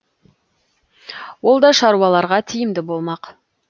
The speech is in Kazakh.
ол да шаруаларға тиімді болмақ